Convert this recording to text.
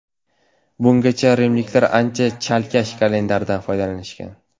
Bungacha rimliklar ancha chalkash kalendardan foydalanishgan.